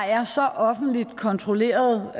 er så offentligt kontrolleret